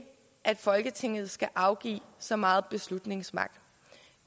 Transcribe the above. at folketinget skal afgive så meget beslutningsmagt det